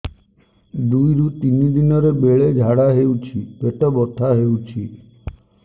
ଦୁଇରୁ ତିନି ଦିନରେ ବେଳେ ଝାଡ଼ା ହେଉଛି ପେଟ ବଥା ହେଉଛି